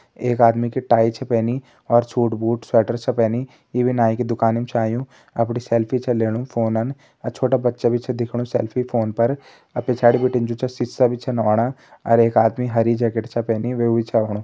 एक आदमी की टाई च पेनी और सूट-बूट स्वेटर सब पेनी इ नाइ की दुकान म च आयुं अपणी सेल्फी च लेणु फोनन और छोटा बच्चा भी च दिख्याणु सेल्फी फ़ोन पर और पिच्याडी भीटे जो च सीसा में बी च आणा और एक आदमी हरी जैकेट च पेनी वे बी च आणु।